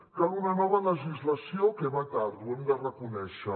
cal una nova legislació que va tard ho hem de reconèixer